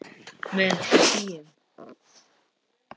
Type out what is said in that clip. Með hléum.